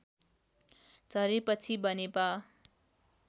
झरेपछि Banepa